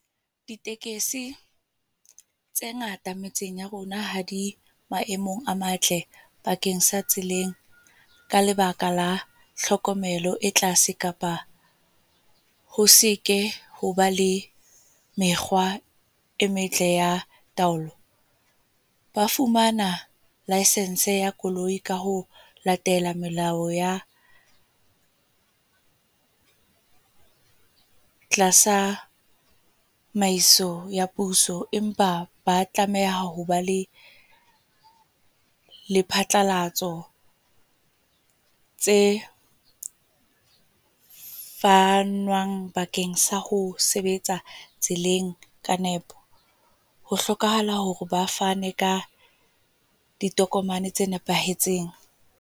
Ditekesi, tse ngata metseng ya rona ha di maemong a matle, bakeng sa tseleng. Ka lebaka la tlhokomelo e tlase kapa ho seke hoba le mekgwa e metle ya taolo. Ba fumana licence ya koloi ka ho latela melao ya, tlasa tsamaiso ya puso. Empa ba tlameha ho ba le lephatlalatso, tse fanwang bakeng sa ho sebetsa tseleng ka nepo. Ho hlokahala hore ba fane ka ditokomane tse nepahetseng.